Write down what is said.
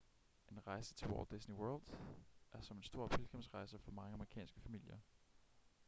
en rejse til walt disney world er som en stor pilgrimsrejse for mange amerikanske familier